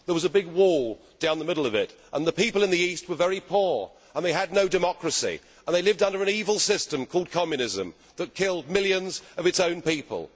there was a big wall down the middle of it and the people in the East were very poor and they had no democracy, and they lived under an evil system called Communism that killed millions of its own people.